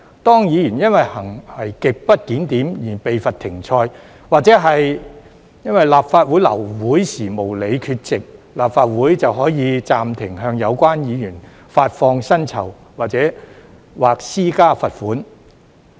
當議員因行為極不檢點而被罰"停賽"，或者因為立法會流會時無理缺席，立法會就可以暫停向有關議員發放酬金或施加罰款。